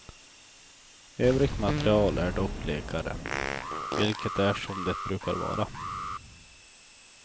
Övrigt material är dock blekare, vilket är som det brukar vara.